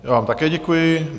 Já vám také děkuji.